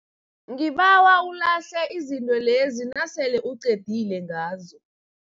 Ngibawa ulahle izinto lezi nasele uqedile ngazo.